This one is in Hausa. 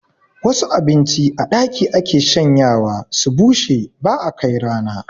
Wasu abinci a ɗaki ake shanyawa su bushe ba'a kai rana